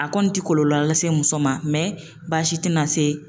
A kɔni tɛ kɔlɔlɔ lase muso ma baasi tɛna se